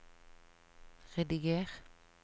rediger